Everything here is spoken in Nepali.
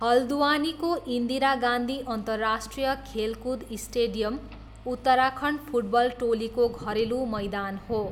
हल्द्वानीको इन्दिरा गान्धी अन्तर्राष्ट्रिय खेलकुद स्टेडियम उत्तराखण्ड फुटबल टोलीको घरेलु मैदान हो।